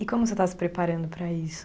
E como você está se preparando para isso?